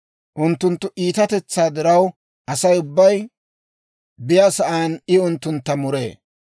Unttunttu iitatetsaa diraw, Asay ubbay be'iyaasan I unttuntta muree.